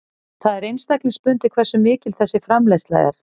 Það er einstaklingsbundið hversu mikil þessi framleiðsla er.